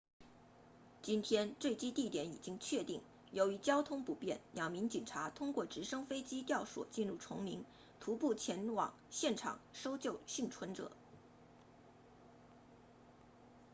今天坠机地点已经确定由于交通不便两名警察通过直升飞机吊索进入丛林徒步前往现场搜救幸存者